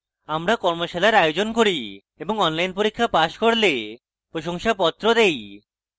আমরা কর্মশালার আয়োজন করি এবং online পরীক্ষা pass করলে প্রশংসাপত্র দেই